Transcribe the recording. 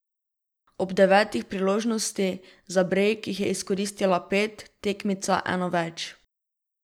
Od devetih priložnosti za brejk jih je izkoristila pet, tekmica eno več.